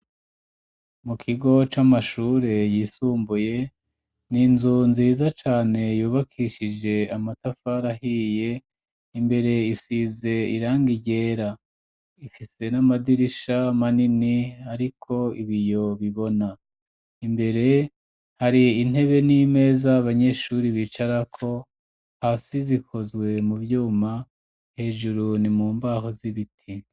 Mu kigo c'amashure yisumbuye, ninzu nziza cane yubakishije amatafari ahiye, imbere isize irangi ryera ,ifise n'amadirisha manini ariko ibiyo bibona, imbere hari intebe n'imeza abanyeshuri bicarako ,hasi zikozwe mu vyuma hejuru ni mu mbaho z'ibiti.